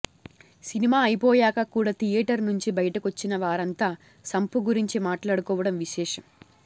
cinema అయిపోయాక కూడా theatre నుంచి బయటకొచ్చినవారంతా సంపూ గురించి మాట్లాడుకోవడం విశేషం